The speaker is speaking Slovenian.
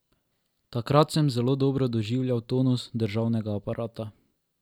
Takrat sem zelo dobro doživljal tonus državnega aparata.